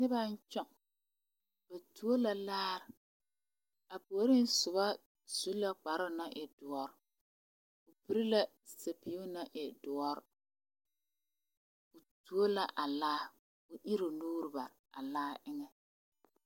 Nobaŋ tɔŋ ba tuo la laare a puori soba su la kparoo na e doɔrɔ o piri la zupile naŋ e doɔrɔ o tuo la a laa kyɛ iri o nuure bare a laa eŋa